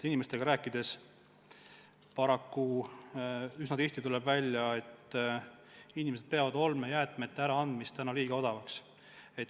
Inimestega rääkides on üsna tihti välja tulnud, et nad peavad segaolmejäätmete äraandmist heaks odavaks.